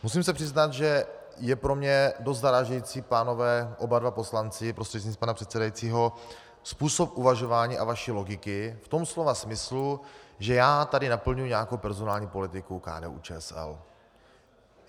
Musím se přiznat, že je pro mě dost zarážející, pánové oba dva poslanci prostřednictvím pana předsedajícího, způsob uvažování a vaší logiky v tom slova smyslu, že já tady naplňuji nějakou personální politiku KDU-ČSL.